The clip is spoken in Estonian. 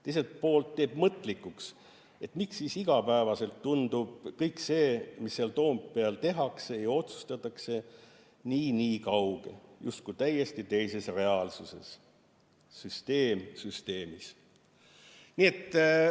Teiselt poolt teeb mõtlikuks, et miks siis igapäevaselt tundub kõik see, mis seal Toompeal tehakse ja otsustatakse, nii-nii kauge, justkui täiesti teises reaalsuses, süsteem süsteemis.